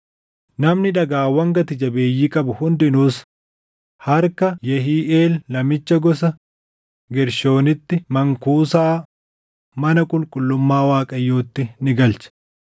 Namni dhagaawwan gati jabeeyyii qabu hundinuus harka Yehiiʼeel namicha gosa Geershoonitti mankuusaa mana qulqullummaa Waaqayyootti ni galche.